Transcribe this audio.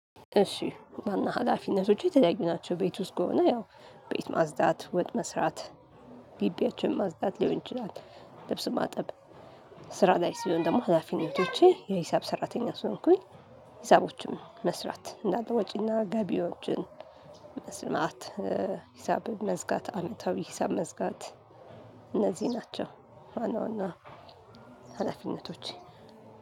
እሺ ዋና ሀላፊነቶቼ የተለያዩ ናቸው ቤት ውስጥ ከሆነ ያው ቤት ማጽዳት ወጥ መስራት ግቢያችንን ማጽዳት ሊሆን ይችላል። ልብስ ማጠብ ስ ስራ ላይ ሲሆን ደግሞ ሀላፊነቶቼ የሂሳብ ሰራተኛ ስለሆንኩኝ። ሂሳቦችን መስራት እንዳለ ወጪና ገቢዎችን መስማት ሂሳብ መዝጋት አመታዊ ሂሳብ መዝጋት። እነዚህ ናቸው። ዋና ዋና ሀላፍነቶ